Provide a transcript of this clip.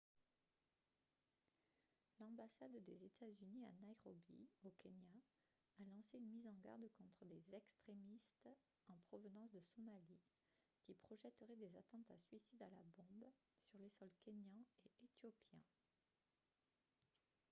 "l'ambassade des états-unis à nairobi au kenya a lancé une mise en garde contre des "extrémistes en provenance de somalie" qui projetteraient des attentats- suicides à la bombe sur les sols kényan et éthiopien.